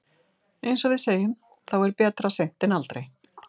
Eins og við segjum, þá er betra seint en aldrei.